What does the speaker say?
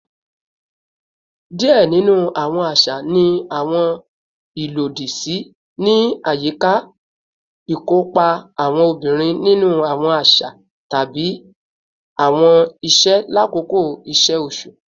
Diẹ ninu awọn aṣa ni awọn ilodi si ni ayika ikopa awọn obinrin ninu awọn aṣa tabi awọn iṣe lakoko iṣe oṣu